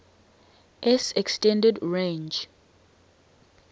s extended range